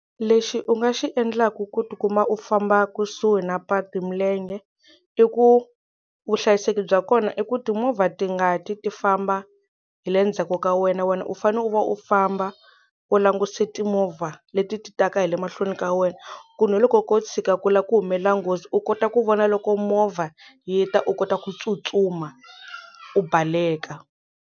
Lexi u nga xi endlaku ku tikuma u famba kusuhi na patu hi milenge i ku vuhlayiseki bya kona i ku timovha ti nga ti ti famba hi le ndzhaku ka wena wena u fanele u va u famba u languse timovha leti ti taka hi le mahlweni ka wena ku na loko ko tshuka ku lava ku humelela nghozi u kota ku vona loko movha yi ta u kota ku tsutsuma u baleka.